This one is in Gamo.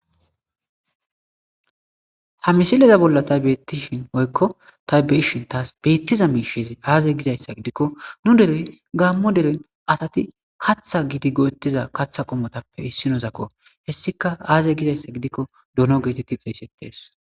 ha misileza bolla tassi betishi woyiko ta beyishi betiza mishezi aze gizayisa gidikko nu dere gammo dere assati katha gidi katha qomotappe isinozako go'etidda hessika aze gidayissa gidikko donno giddi xessetesi